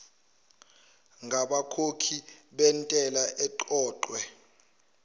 ngabakhokhi bentela eqoqwe